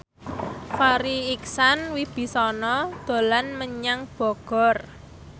Farri Icksan Wibisana dolan menyang Bogor